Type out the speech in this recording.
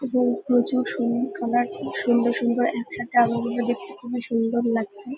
এবং প্রচুর সুন খাবার। কি সুন্দর সুন্দর একসাথে আলোগুলো খুবই সুন্দর লাগছে।